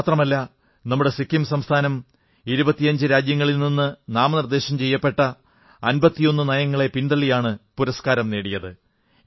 ഇത്രമാത്രമല്ല നമ്മുടെ സിക്കിം സംസ്ഥാനം 25 രാജ്യങ്ങളുടെ നാമനിർദ്ദേശം ചെയ്യപ്പെട്ട 51 നയങ്ങളെ പിന്തള്ളിയാണ് പുരസ്കാരം നേടിയത്